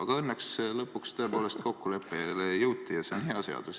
Aga õnneks lõpuks tõepoolest kokkuleppele jõuti ja see on hea seadus.